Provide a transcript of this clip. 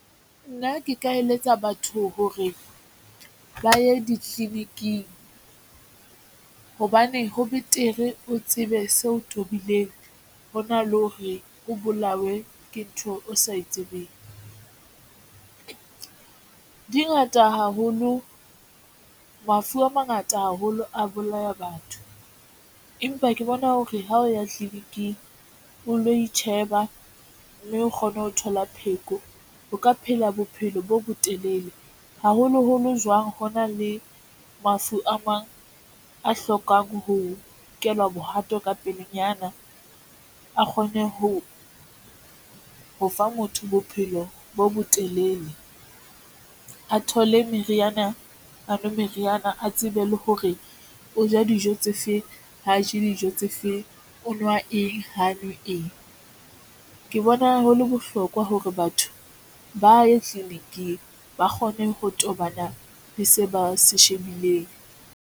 Nna ke ka eletsa batho hore ba ye ditleliniking hobane ho betere o tsebe seo tobileng hona le hore o bolawe ke ntho o sa e tsebeng. Dingata haholo mafu a mangata haholo a bolaya batho, empa ke bona hore ha o ya tleliniking o lo itjheba mme o kgone ho thola pheko. O ka phela bophelo bo botelele, haholoholo jwang ho na le mafu a mang a hlokang ho nkelwa bohato ka pelenyana a kgone ho ho fa motho bophelo bo botelele, a thole meriana, a nwe meriana, a tsebe le hore o ja dijo tse feng. Ha a je dijo tse feng o nwa eng ha nwe eng. Ke bona hole bohlokwa hore batho ba ye tleliniking ba kgone ho tobana le se ba se shebileng.